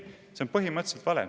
See on põhimõtteliselt vale.